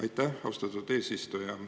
Aitäh, austatud eesistuja!